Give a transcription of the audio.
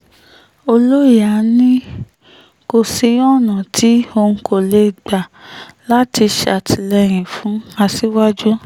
ọlọ́ìyà ni kò sí ọ̀nà tí um òun kò lè gbà láti ṣàtìlẹ́yìn fún aṣíwájú um